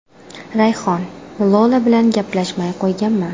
Rayhon: Lola bilan gaplashmay qo‘yganman.